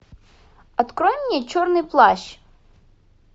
открой мне черный плащ